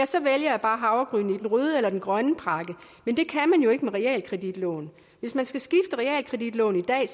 så vælger jeg bare havregryn i den røde eller den grønne pakke men det kan man jo ikke med realkreditlån hvis man skal skifte realkreditlån i dag